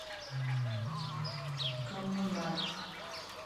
коммунар